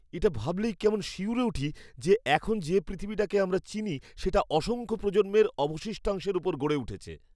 এটা ভাবলেই কেমন শিউরে উঠি যে এখন যে পৃথিবীটাকে আমরা চিনি সেটা অসংখ্য প্রজন্মের অবশিষ্টাংশের উপর গড়ে উঠেছে।